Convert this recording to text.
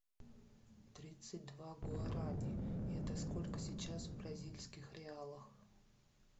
тридцать два гуарани это сколько сейчас в бразильских реалах